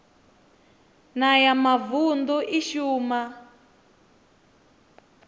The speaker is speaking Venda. na ya mavunḓu i shuma